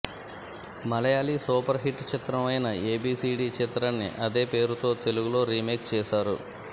Malayali super hit చిత్రం అయిన ABCD చిత్రాన్ని అదే పేరుతో తెలుగులో రీమేక్ చేశారు